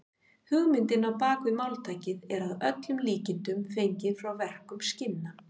Hugmyndin á bak við máltækið er að öllum líkindum fengin frá verkun skinna.